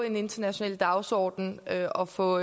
en international dagsorden og få